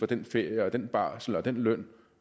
den ferie den barsel den løn